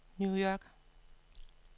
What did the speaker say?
New York